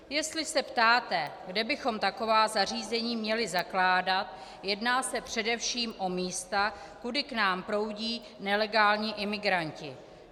Jestli se ptáte, kde bychom taková zařízení měli zakládat, jedná se především o místa, kudy k nám proudí nelegální imigranti.